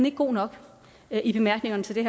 ikke god nok i bemærkningerne til